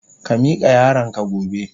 Ka mika yaron ka gobe.